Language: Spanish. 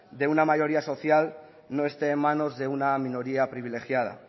de una mayoría social no esté en manos de una minoría privilegiada